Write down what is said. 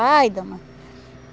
Ai, dona.